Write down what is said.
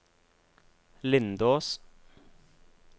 Lindås